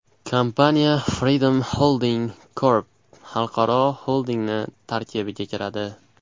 Kompaniya Freedom Holding Corp. xalqaro xoldingi tarkibiga kiradi.